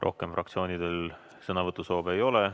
Rohkem fraktsioonidel sõnavõtusoove ei ole.